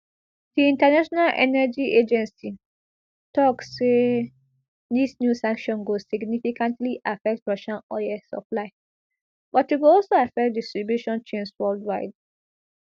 di international energy agency tok say dis new sanction go significantly affect russian oil supply but e go also affect distribution chains worldwide